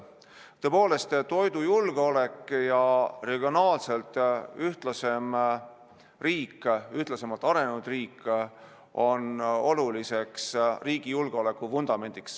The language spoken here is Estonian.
Tõepoolest, toidujulgeolek ja regionaalselt ühtlasemalt arenenud riik on oluliseks riigi julgeolekuvundamendiks.